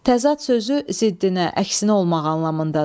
Təzad sözü ziddinə, əksinə olmaq anlamındadır.